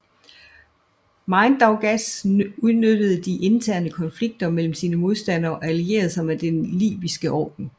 Mindaugas udnyttede de interne konflikter mellem sine modstandere og allierede sig med Den Liviske Orden